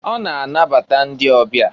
Ọ na-anabata ndị ọbịa.